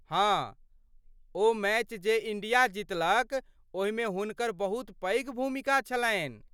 हाँ , ओ मैच जे इण्डिया जीतलक ओहिमे हुनकर बहुत पैघ भूमिका छलैन।